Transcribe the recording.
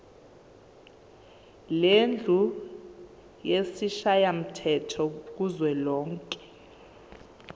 lendlu yesishayamthetho kuzwelonke